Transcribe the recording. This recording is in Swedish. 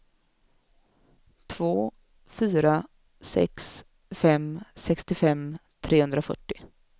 två fyra sex fem sextiofem trehundrafyrtio